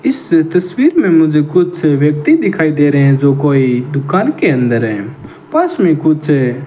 इस से तस्वीर में मुझे कुछ व्यक्ति दिखाई दे रहे हैं जो कोई दुकान के अंदर है पास में कुछ है।